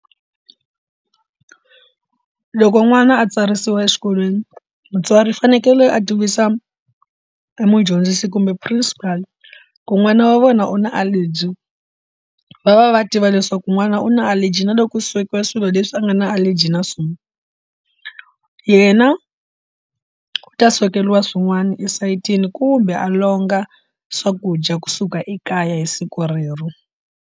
Loko n'wana a tsarisiwa exikolweni mutswari u fanekele a tivisa emudyondzisi kumbe principal ku n'wana wa vona u na a allergy va va va va tiva leswaku n'wana u na allergy na loko u swekiwa swilo leswi a nga na allergy na swona yena u ta swekeriwa swin'wana esayitini kumbe a longa swakudya kusuka ekaya hi siku rero.